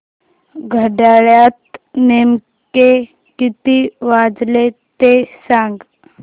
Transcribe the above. घड्याळात नेमके किती वाजले ते सांग